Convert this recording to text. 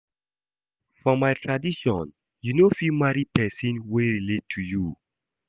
For my tradition you no fit marry pesin wey relate to you.